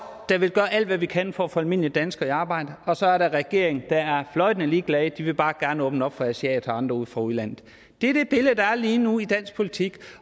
der vil gøre alt hvad vi kan for at få almindelige danskere i arbejde og så er der regeringen der er fløjtende ligeglad den vil bare gerne åbne op for asiater og andre fra udlandet det er det billede der er lige nu i dansk politik